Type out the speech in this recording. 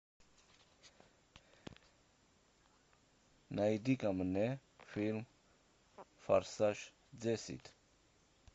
найди ка мне фильм форсаж десять